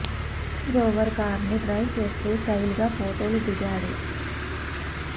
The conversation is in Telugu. రేంజ్ రోవర్ కారును డ్రైవ్ చేస్తూ స్టైల్ గా ఫొటోలు దిగాడు